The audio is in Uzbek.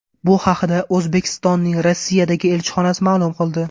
Bu haqda O‘zbekistonning Rossiyadagi elchixonasi ma’lum qildi .